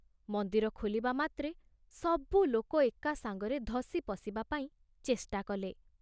ମନ୍ଦିର ଖୋଲିବା ମାତ୍ରେ ସବୁ ଲୋକ ଏକା ସାଙ୍ଗରେ ଧସି ପଶିବା ପାଇଁ ଚେଷ୍ଟା କଲେ।